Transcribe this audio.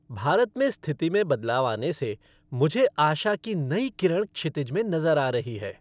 भारत में स्थिति में बदलाव आने से मुझे आशा की नई किरण क्षितिज में नज़र आ रही है।